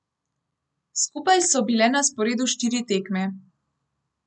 Skupaj so bile na sporedu štiri tekme.